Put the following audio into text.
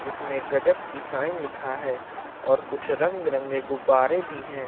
जिसमें गजब की शाइन लिखा है और कुछ रंग बिरंगे गुब्बारे भी हैं।